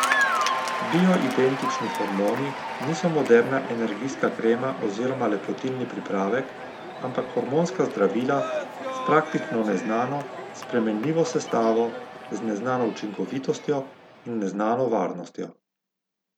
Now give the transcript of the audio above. Bioidentični hormoni niso moderna energijska krema oziroma lepotilni pripravek, ampak hormonska zdravila s praktično neznano, spremenljivo sestavo, z neznano učinkovitostjo in neznano varnostjo.